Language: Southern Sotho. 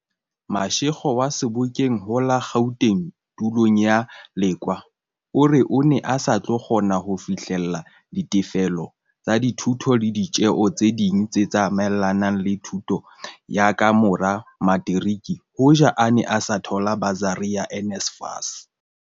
Mashego wa Sebokeng ho la Gauteng tulong ya Lekoa o re o ne a sa tlo kgona ho fihlella ditefello tsa dithuto le ditjeo tse ding tse tsa maelanang le thuto ya ka mora materiki hoja a ne a sa thola basari ya NSFAS.